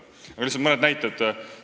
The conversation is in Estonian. Lihtsalt mõned näited.